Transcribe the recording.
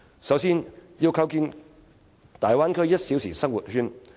首先，我認為要構建大灣區"一小時生活圈"。